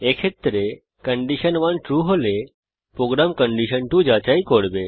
এক্ষেত্রে condition 1 true হলে program condition 2 যাচাই করে